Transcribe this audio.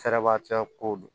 Fɛɛrɛba tɛ ko do